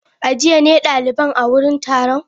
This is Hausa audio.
A jiya ne daliban a wurin taron?